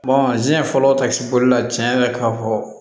fɔlɔ ta sibɔla tiɲɛn na ka fɔ